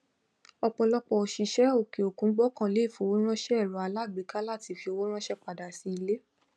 ọpọlọpọ òṣìṣẹ òkè òkun gbọkànlé ìfowóránṣẹ èrò alágbèéká láti fi ọwọ ránṣẹ padà sí ilé